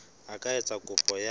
a ka etsa kopo ya